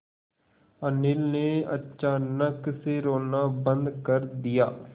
अनिल ने अचानक से रोना बंद कर दिया